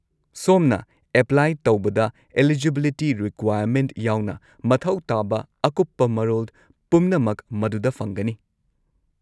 ꯁꯣꯝꯅ ꯑꯦꯄ꯭ꯂꯥꯏ ꯇꯧꯕꯗ eligibility requirement ꯌꯥꯎꯅ ꯃꯊꯧ ꯇꯥꯕ ꯑꯀꯨꯞꯄ ꯃꯔꯣꯜ ꯄꯨꯝꯅꯃꯛ ꯃꯗꯨꯗ ꯐꯪꯒꯅꯤ꯫